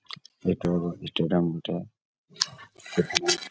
এটারও ইটারাম এটা এখানে--